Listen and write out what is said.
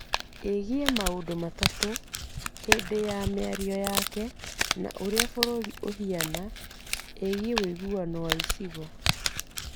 Ĩgiĩ maũndũ matatũ, hĩndĩ ya mĩario yake ya ũrĩa bũrũri ũhiana, ĩgiĩ ũiguano wa icigo.